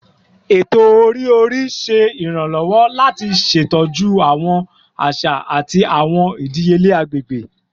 Eto-ori-ori ṣe iranlọwọ lati ṣetọju awọn aṣa ati awọn idiyele agbegbe